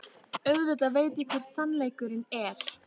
Auðvitað veit ég hver sannleikurinn er.